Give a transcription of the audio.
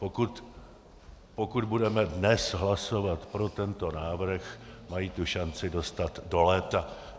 Pokud budeme dnes hlasovat pro tento návrh, mají tu šanci dostat do léta.